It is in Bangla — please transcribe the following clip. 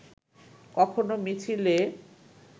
কখনো মিছিলে